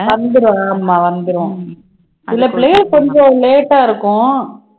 வந்துரும் ஆமா வந்துரும் சில பிள்ளைக கொஞ்சம் late ஆ இருக்கும்